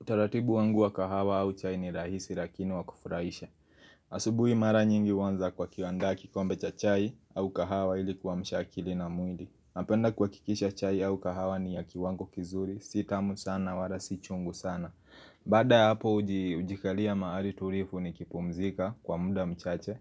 Utaratibu wangu wa kahawa au chai ni rahisi lakini wa kufurahisha. Asubui mara nyingi huanza kwa kiwandaa kikombe cha chai au kahawa ili kuamsha akili na mwili. Napenda kuhakikisha chai au kahawa ni ya kiwango kizuri, si tamu sana wala si chungu sana. Baada ya hapo ujikalia maari turifu nikipumzika kwa muda mchache